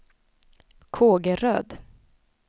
Kågeröd